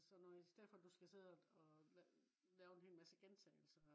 og sådan noget i stedet for du skal sidde og lave øh en hel masse gentagelser